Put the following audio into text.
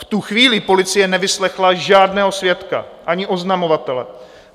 V tu chvíli policie nevyslechla žádného svědka ani oznamovatele.